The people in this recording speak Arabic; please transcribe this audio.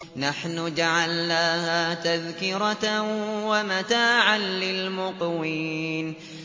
نَحْنُ جَعَلْنَاهَا تَذْكِرَةً وَمَتَاعًا لِّلْمُقْوِينَ